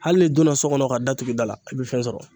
Hali n'i donna so kɔnɔ ka da tugu i da la a bɛ fɛn sɔrɔ